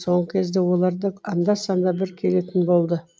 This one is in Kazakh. соңғы кезде олар да анда санда бір келетін болды